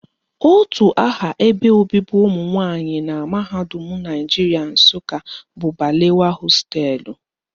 Otu aha ebe obibi ụmụnwanyị na mahadum Naijiria Nsụka bụ Balewa hostelụ